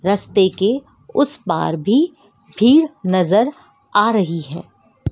रास्ते के उस पार भी भीड़ नजर आ रही है।